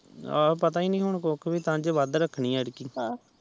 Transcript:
ਆਹੋ ਪਤਾ ਏ ਨੀ ਕੁੱਖ ਵੀ ਕੇ ਕੰਜ ਵਾਦ ਰੱਖਣੀ ਐਦਕੀ